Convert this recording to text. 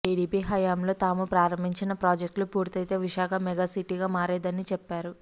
TDP హయంలో తాము ప్రారంభించిన ప్రాజెక్టులు పూర్తయితే విశాఖ మెగాసిటీగా మారేదని చెప్పారు